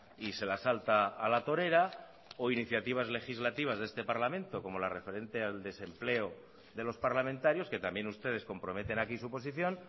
y se la salta a la torera o iniciativas legislativas de este parlamento como la referente al desempleo de los parlamentarios que también ustedes comprometen aquí su posición